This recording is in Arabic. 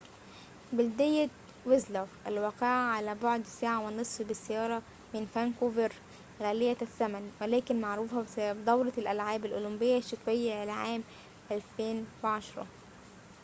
بلدية ويسلر الواقعة على بعد ساعة ونصف بالسيارة من فانكوفر غالية الثمن، ولكن معروفة بسبب دورة الألعاب الأولمبية الشتوية لعام 2010